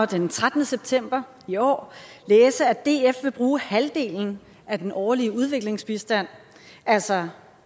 den trettende september i år læse at df vil bruge halvdelen af den årlige udviklingsbistand altså